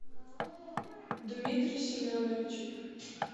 дмитрий семенович